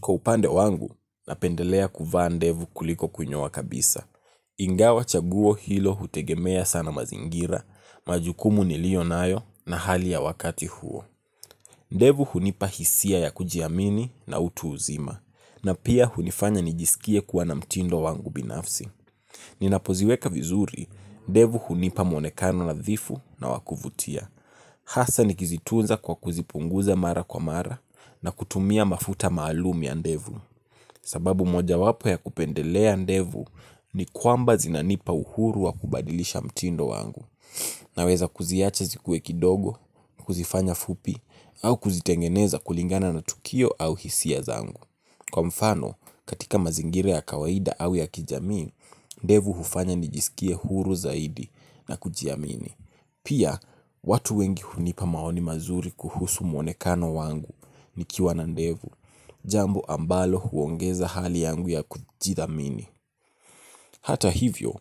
Kwa upande wangu, napendelea kuvaa ndevu kuliko kunyoa kabisa. Ingawa chaguo hilo hutegemea sana mazingira majukumu nilio nayo na hali ya wakati huo. Ndevu hunipa hisia ya kujiamini na utu uzima, na pia hunifanya nijisikie kuwa na mtindo wangu binafsi. Ninapoziweka vizuri, ndevu hunipa mwonekano nadhifu na wakuvutia. Hasa nikizitunza kwa kuzipunguza mara kwa mara na kutumia mafuta maalum ya ndevu. Sababu moja wapo ya kupendelea ndevu ni kwamba zinanipa uhuru wa kubadilisha mtindo wangu. Naweza kuziacha zikuwe kidogo, kuzifanya fupi, au kuzitengeneza kulingana na tukio au hisia zangu. Kwa mfano, katika mazingira ya kawaida au ya kijamii, ndevu hufanya nijisikie huru zaidi na kujiamini. Pia watu wengi hunipa maoni mazuri kuhusu mwonekano wangu nikiwa na ndevu. Jambo ambalo huongeza hali yangu ya kujidhamini. Hata hivyo,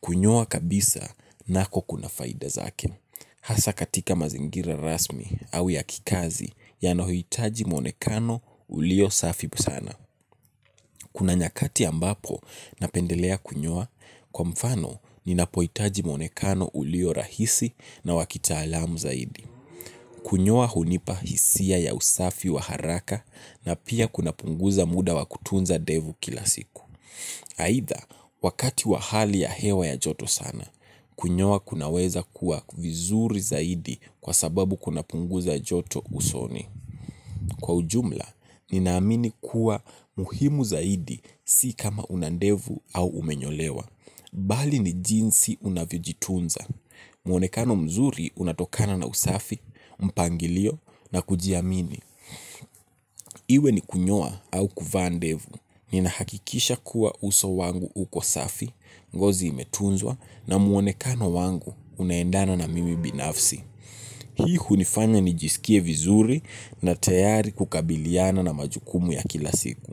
kunyoa kabisa nako kuna faida zake. Hasa katika mazingira rasmi au ya kikazi yanayo hitaji mwonekano ulio safi sana. Kuna nyakati ambapo napendelea kunyoa kwa mfano ninapo hitaji mwonekano ulio rahisi na wa kitaalamu zaidi. Kunyoa hunipa hisia ya usafi wa haraka na pia kuna punguza muda wa kutunza ndevu kila siku. Aidha, wakati wa hali ya hewa ya joto sana, kunyoa kunaweza kuwa vizuri zaidi kwa sababu kuna punguza joto usoni. Kwa ujumla, ninaamini kuwa muhimu zaidi si kama unandevu au umenyolewa. Bali ni jinsi unavyojitunza. Muonekano mzuri unatokana na usafi, mpangilio na kujiamini. Iwe ni kunyoa au kuvaa ndevu. Nina hakikisha kuwa uso wangu uko safi, ngozi imetunzwa na muonekano wangu unaendana na mimi binafsi. Hii hunifanya nijisikie vizuri na tayari kukabiliana na majukumu ya kila siku.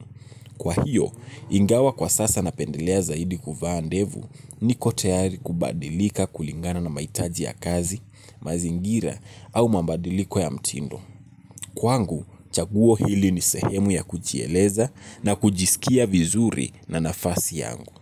Kwa hiyo, ingawa kwa sasa napendelea zaidi kuvaa ndevu niko tayari kubadilika kulingana na maitaji ya kazi, mazingira au mabadiliko ya mtindo. Kwangu, chaguo hili ni sehemu ya kujieleza na kujisikia vizuri na nafasi yangu.